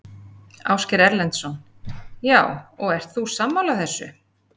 Ásgeir Erlendsson: Já, og ert þú sammála þessu?